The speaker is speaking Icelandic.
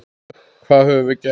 Hvað höfum við gert?